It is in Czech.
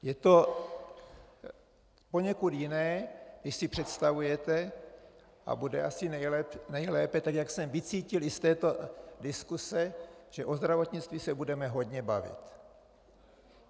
Je to poněkud jiné, než si představujete, a bude asi nejlépe, tak jak jsem vycítil i z této diskuse, že o zdravotnictví se budeme hodně bavit.